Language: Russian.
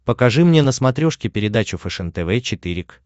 покажи мне на смотрешке передачу фэшен тв четыре к